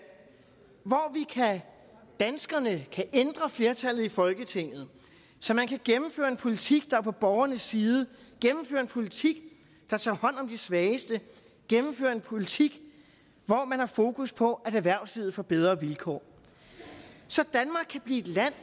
hvor danskerne kan ændre flertallet i folketinget så man kan gennemføre en politik der er på borgernes side gennemføre en politik der tager hånd om de svageste gennemføre en politik hvor man har fokus på at erhvervslivet får bedre vilkår så danmark kan blive et land